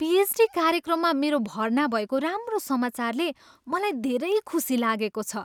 PhD कार्यक्रममा मेरो भर्ना भएको राम्रो समाचारले मलाई धेरै खुसी लागेको छ।